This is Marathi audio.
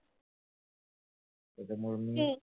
त्याच्यामुळे मी ठीक आहे.